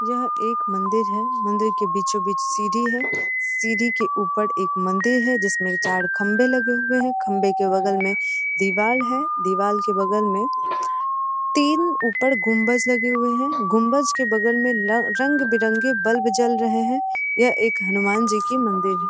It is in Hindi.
यह एक मंदिर है मंदिर में बीचो-बीच सीढी है सीढी के ऊपर एक मंदिर है जिसमें चार खंबे लगे हुए हैं खंबे के बगल में दीवाल है दीवाल के बगल में तीन ऊपर गुंबज लोग लगे हुए हैं गुम्बज के बगल में रंग-बिरंगे बल्ब जल रहे हैं यह एक हनुमान जी का मंदिर है |